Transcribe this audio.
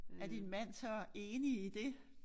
Er din mand så enig i det?